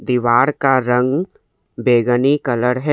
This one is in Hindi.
दीवार का रंग बैगनी कलर है।